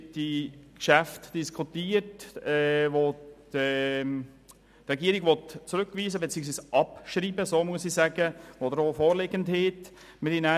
Die Regierung will sie abschreiben, und wir haben dies in der BaK diskutiert.